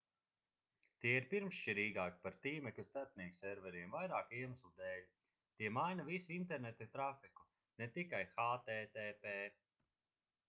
tie ir pirmšķirīgāki par tīmekļa starpniekserveriem vairāku iemeslu dēļ tie maina visu interneta trafiku ne tikai http